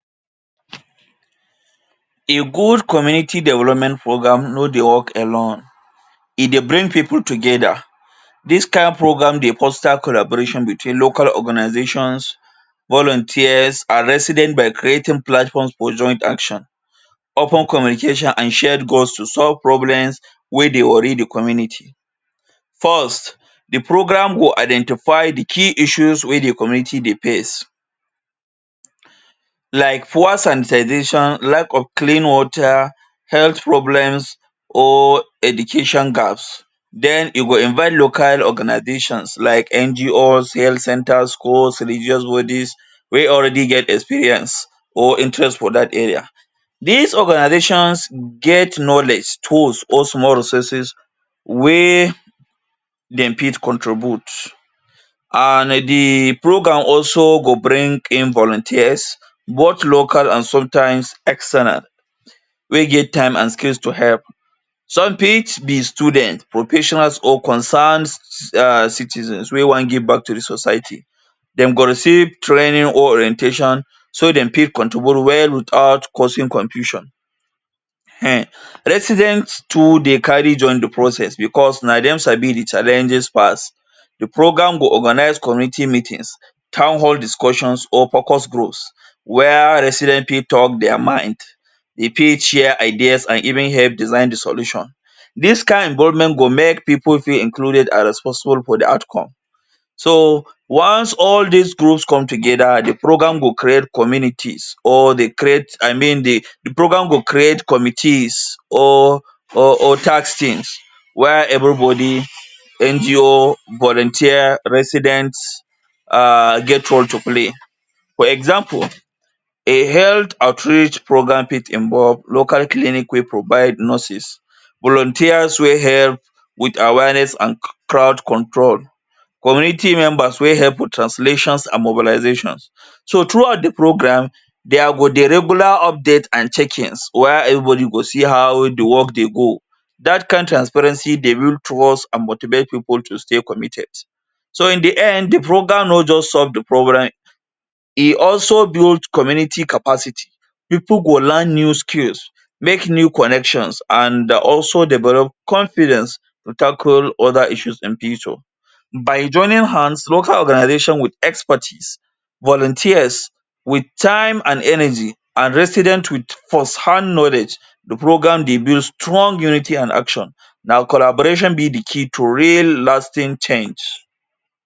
A good community development program no dey work alone. E dey bring people together. Dis kain program dey foster collaboration between local organizations, volunteers and residents by creating platforms for joint action, open communication and shared goals to solve problems wey dey worry the community. First, the program go identify the key issues wey the community dey face like poor sanitization, lack of clean water, health problems or education gaps. Den e go invite local organizations like NGOs, health centers, schools, religious bodies wey already get experience or interest for that area. Dis organizations get knowledge, tools or small resources wey dem fit contribute and the program also go bring in volunteers both local and sometimes external wey get time and skills to help. Some fit be students, professionals or concerned um citizens wey wan give back to the society. Dem go receive training or orientation so dey fit contribute well without causing confusion. Um resident too dey carry join the process because na dem sabi the challenges pass. The program go organize community meetings, townhall discussions or focus groups where residents fit talk their mind. Dey fit share ideas and even help design the solution. Dis kain involvement go make people feel included and responsible for the outcome. So once all did groups come together, the program go create communities or dey create, I mean the program go create committees or or or task teams while everybody, NGOs, volunteers, residents um get role to play. For example, a health outreach program fit involve local clinic people, provide nurses, volunteer wey help wit awareness and crowd control, community members wey help the translations and mobilizations. So throughout the program, there go dey regular updates and check-ins while everybody go see how the work dey go. Dat kain transparency dey lead towards and motivate people to stay committed. So in the end, the program no just solve the problem, e also build community capacity. People go learn new skills, make new connections and also develop confidence to tackle other issues in future. By joining hands, local organizations wit expertise, volunteers wit time and energy and resident wit firsthand knowledge the program dey build strong unity and action. Na collaboration be the key to real lasting change.